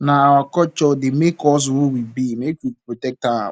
na our culture dey make us who we be make we protect am